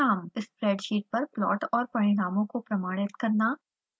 spreadsheet पर plot और परिणामों को प्रमाणित करना